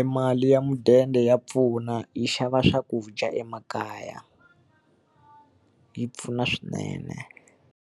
E mali ya mudende ya pfuna yi xava swakudya emakaya, yi pfuna swinene.